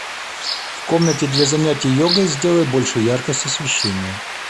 в комнате для занятия йогой сделай больше яркость освещения